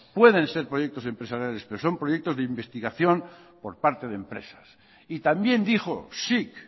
pueden ser proyectos empresariales pero son proyectos de investigación por parte de empresas y también dijo sic